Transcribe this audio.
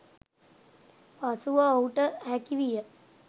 පසුව ඔහුට හැකිවිය